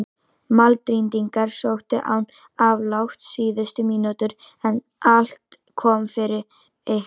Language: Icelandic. Madrídingar sóttu án afláts síðustu mínúturnar en allt kom fyrir ekki.